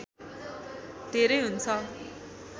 धेरै हुन्छ